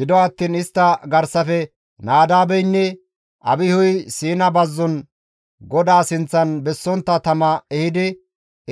Gido attiin istta garsafe Nadaabeynne Abihuy Siina bazzon GODAA sinththan bessontta tama ehidi